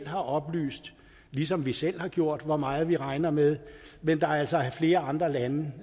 har oplyst ligesom vi selv har gjort det hvor meget de regner med men der er altså flere andre lande